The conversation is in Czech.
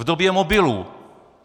V době mobilů!